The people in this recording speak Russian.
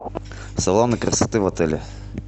салоны красоты в отеле